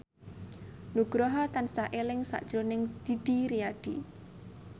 Nugroho tansah eling sakjroning Didi Riyadi